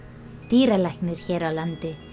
dýralæknir hér á landi